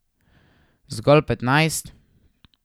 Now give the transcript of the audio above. Zgolj petnajst.